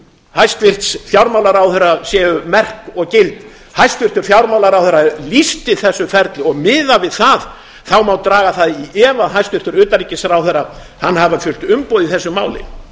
hæstvirts fjármálaráðherra séu merk og gild hæstvirtur fjármálaráðherra lýsti þessu ferli og miðað við það má draga það í efa að hæstvirtur utanríkisráðherra hafi þurft umboð í þessu máli